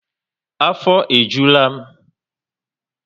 Afo e jula m